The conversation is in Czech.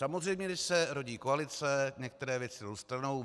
Samozřejmě když se rodí koalice, některé věci jdou stranou.